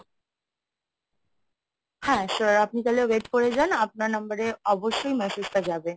হ্যাঁ sir আপনি তাহলে wait করে যান, আপনার number এ অবশ্যই massage টা যাবে।